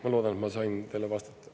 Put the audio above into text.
Ma loodan, et ma nendele vastata.